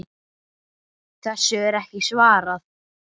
Þessu er ekki svarað.